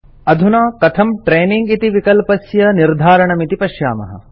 अधुना कथं ट्रेनिंग इति विकल्पस्य निर्धारणमिति पश्यामः